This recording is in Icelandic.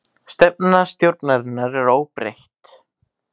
Stefna stjórnarinnar óbreytt